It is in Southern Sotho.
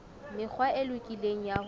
mekgwa e lokileng ya ho